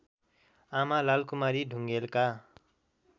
आमा लालकुमारी ढुङेलका